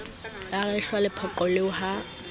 la rehwa lepoqo eo ha